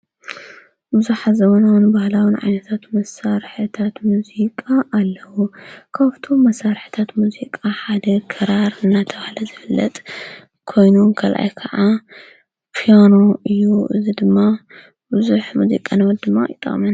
ብዙኃ ዝሙናውን በሃላውን ዓነታት መሳርሕታት ሙዙቃ ኣለዉ ካወፍቶ መሣርሕታት ሙዚቃ ሓድ ከራር እናተውሃለ ዘብለጥ ኮይኑን ገልኣኢ ከዓ ፕያኖ እዩ እዝ ድማ ብዙኅ ሙዚቃ ነወት ድማ ይጣመን።